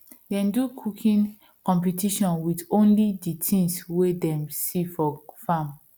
dem do cooking competition with only the things way them see from farm